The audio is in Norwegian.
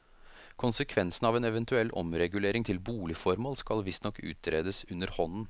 Konsekvensene av en eventuell omregulering til boligformål skal visstnok utredes underhånden.